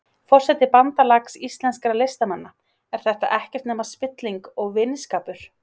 Forseti Bandalags íslenskra listamanna, er þetta ekkert nema spilling og vinskapur?